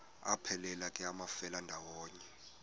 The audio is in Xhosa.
aphelela ke amafelandawonye